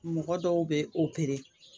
Mɔgɔ dɔw bɛ